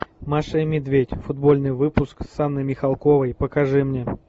маша и медведь футбольный выпуск с анной михалковой покажи мне